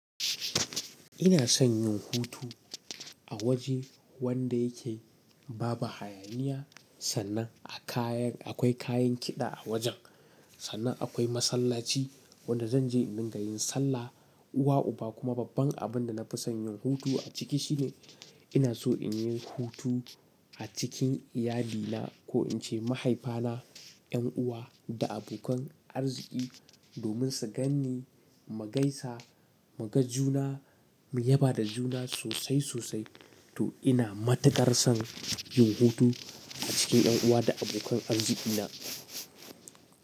Ina son yin hutu a waje wanda yake babu hayaniya, sannan akwai kayan kiɗa a wajen, sannan akwai masallaci wanda zan je in dinga yin sallah. Uwa, uba kuma babban abin da na fi son yin hutu a ciki shine ina so in yi hutu a cikin iyali na ko in ce mahaifa na, 'yan uwa da abokan arziki domin su ganni mu gaisa, mu ga juna, mu yaba da juna sosai sosai. To ina matukar son yin hutu a cikin 'yan uwa da abokan arziki na.